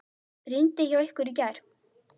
Rigndi hjá ykkur í gær?